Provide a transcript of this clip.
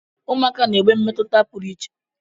Ụmụaka na-enwe mmetụta pụrụ iche.